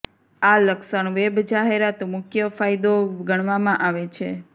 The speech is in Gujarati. આ લક્ષણ વેબ જાહેરાત મુખ્ય ફાયદો ગણવામાં આવે છે